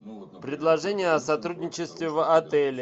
предложения о сотрудничестве в отеле